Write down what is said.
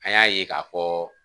An y'a ye k'a fɔ